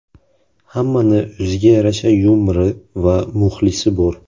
Hammani o‘ziga yarasha yumori va muxlisi bor.